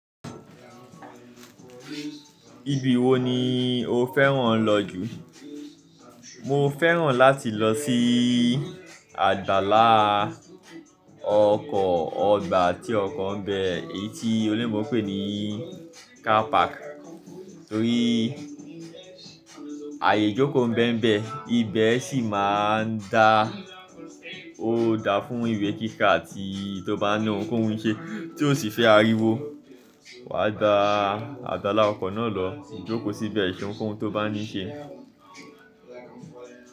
Ibi wo ni o fẹ́ràn lọ jù? Mo fẹ́ràn láti lọ sí àjàlá ọkọ̀ ọgbà tí ọkọ̀ ń bẹ, èyí tí oloyinbo n pè ní car park. Torí àyè ìjókòó ń bẹ́mbẹ́, ibẹ̀ sì máa ń da, ó da fún ìwé kíkà tí tó bá na ohunkóhun ṣe tí ó sì fẹ́ ariwo. Wàá gba àgbàlá ọkọ̀ náà lọ jókòó síbẹ̀ ṣe ohunkóhun tó bá ní ṣe.